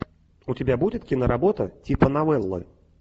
у тебя будет киноработа типа новеллы